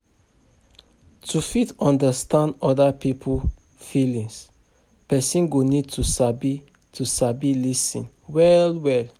To fit understand oda pipo feelings, person go need to sabi to sabi lis ten well well